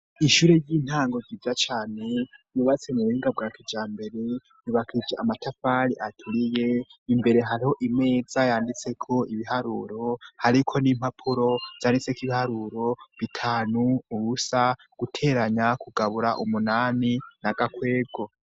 Ishure ry'intango ryiza cane, yubatse mu buhinga bwa kijambere yubakije amatafari aturiye, imbere hariho imeza yanditseko ibiharuro, hariko n'impapuro vyanditseko ibiharuro ,bitanu, ubusa, guteranya, kugabura umunani ,n'gakwego.